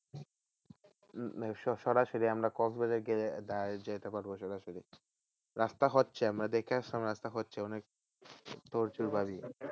উম সরাসরি আমরা কক্সবাজারে গিয়ে direct যেতে পারবো সরাসরি রাস্তা হচ্ছে আমরা দেখে আসলাম রাস্তা হচ্ছে অনেক